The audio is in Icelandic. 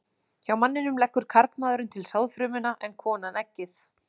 Hjá manninum leggur karlmaðurinn til sáðfrumuna en konan eggið.